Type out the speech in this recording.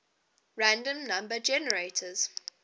random number generators